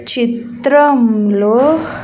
చిత్రంలో .